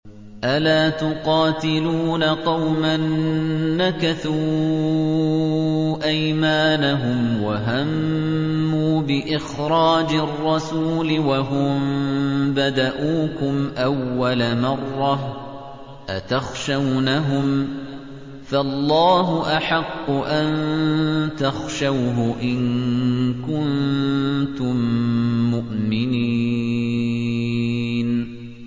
أَلَا تُقَاتِلُونَ قَوْمًا نَّكَثُوا أَيْمَانَهُمْ وَهَمُّوا بِإِخْرَاجِ الرَّسُولِ وَهُم بَدَءُوكُمْ أَوَّلَ مَرَّةٍ ۚ أَتَخْشَوْنَهُمْ ۚ فَاللَّهُ أَحَقُّ أَن تَخْشَوْهُ إِن كُنتُم مُّؤْمِنِينَ